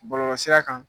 Bɔlɔlɔsira kan